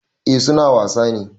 Eh su na wasa ne.